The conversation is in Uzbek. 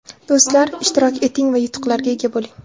Do‘stlar, ishtirok eting va yutuqlarga ega bo‘ling.